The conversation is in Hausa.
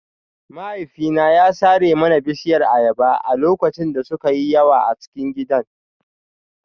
Mahaifina ya sare mana bishiyar ayaba a lokacin da suka yi yawa a cikin gidan